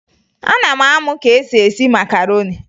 Ana m amụ ka esi esi makaroni